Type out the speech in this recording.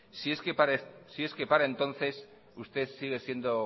si es que para entonces usted sigue siendo